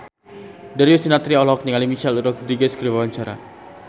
Darius Sinathrya olohok ningali Michelle Rodriguez keur diwawancara